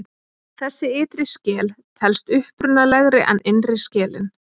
Þessi ytri skel telst upprunalegri en innri skelin.